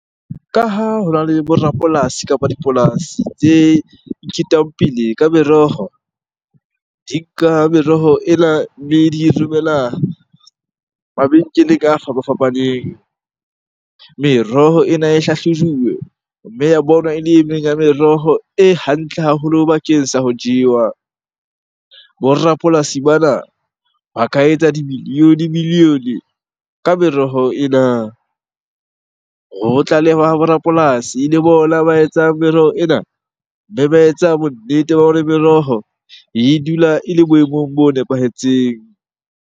Ka ha hona le bo rapolasi kapa dipolasi tse iketang pele ka meroho. Di nka meroho ena, mme di e romela mabenkeleng a fapafapaneng. Meroho ena e hlahlojuwe mme ya bonwa ele e meng ya meroho e hantle haholo bakeng sa ho jewa. Bo rapolasi bana ba ka etsa di-million-e, million-e ka meroho ena. Ho tlalehwa ho bo rapolasi le bona ba etsang meroho ena, mme ba etsa bonnete ba hore meroho e dula ele boemong bo nepahetseng.